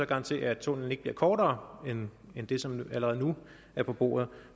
garantere at tunnellen ikke bliver kortere end det som allerede nu er på bordet